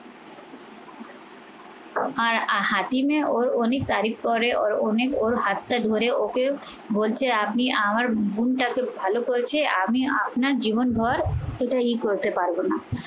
আর হাতিমে ওর অনেক তারিফ পরে ওর অনেক ওর হাতটা ধরে ওকে আপনি আমার বোনটাকে ভালো করেছে আমি আপনার জীবনভর সেটা ই করতে পারবো না।